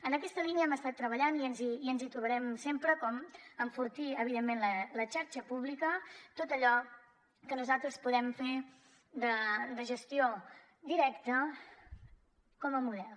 en aquesta línia hem estat treballant hi i ens hi trobarem sempre com a enfortir evidentment la xarxa pública tot allò que nosaltres podem fer de gestió directa com a model